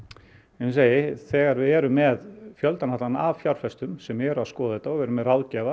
ég segi þegar við erum með fjöldan allan af fjárfestum sem eru að skoða þetta og við erum með ráðgjafa